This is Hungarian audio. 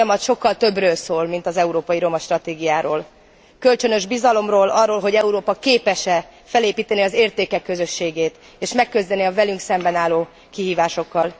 Ez a folyamat sokkal többről szól, mint az európai romastratégiáról kölcsönös bizalomról, arról, hogy Európa képes e felépíteni az értékek közösségét, és megküzdeni a velünk szemben álló kihívásokkal.